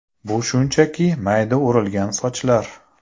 Bu shunchaki mayda o‘rilgan sochlar.